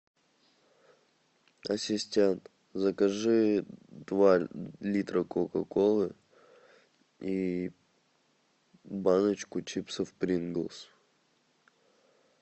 ассистент закажи два литра кока колы и баночку чипсов принглс